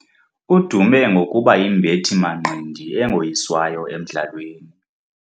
Udume ngokuba yimbethi-manqindi engoyiswayo emdlalweni.